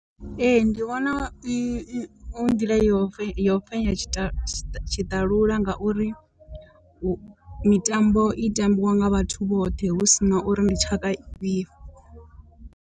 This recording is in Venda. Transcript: Ee ndi vhona i i hu nḓila yo yo fhenya tshi tshiṱalula ngauri u mitambo i tambiwa nga vhathu vhoṱhe hu si na uri ndi tshaka ifhio.